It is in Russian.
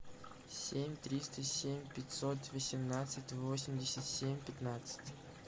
семь триста семь пятьсот восемнадцать восемьдесят семь пятнадцать